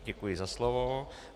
Děkuji za slovo.